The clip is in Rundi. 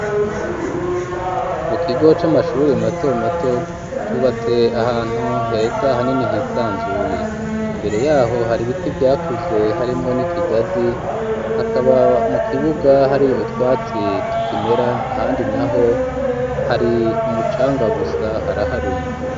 Mu kigo c'amashuri mato mato cubatse ahantu heza hanini hisanzuye imbere yaho hari biti vyakuze harimwo n'ikigazi hakaba mu kibuga hari utwatsi tukimera ahandi naho hari umucanga gusa haraharuye